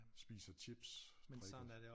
Spiser chips drikker